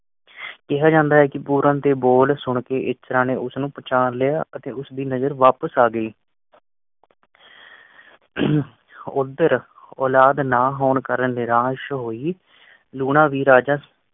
ਕਿਹਾ ਜਾਂਦਾ ਹੈ ਕਿ ਪੂਰਨ ਦੇ ਬੋਲ ਸੁਣਕੇ ਇੱਛਰਾਂ ਨੇ ਉਸਨੂੰ ਪਛਾਣ ਲਿਆ ਅਤੇ ਉਸ ਦੀ ਨਜ਼ਰ ਵਾਪਸ ਆ ਗਈ। ਓਦਰ ਔਲਾਦ ਨਾ ਹੋਣ ਕਰਨ ਨਿਰਾਸ਼ ਹੋਈ ਲੂਣਾਂ ਵੀ ਰਾਜਾ